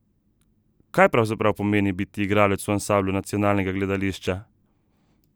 Kaj pravzaprav pomeni biti igralec v ansamblu nacionalnega gledališča?